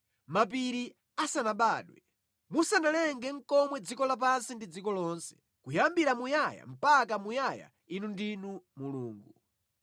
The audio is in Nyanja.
Mapiri asanabadwe, musanalenge nʼkomwe dziko lapansi ndi dziko lonse, kuyambira muyaya mpaka muyaya Inu ndinu Mulungu.